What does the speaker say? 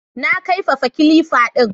Na kaifafa kilifa din